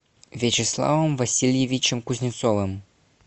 вячеславом васильевичем кузнецовым